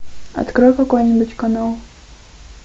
открой какой нибудь канал